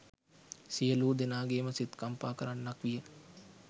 සියලූ දෙනාගේම සිත් කම්පා කරන්නක් විය.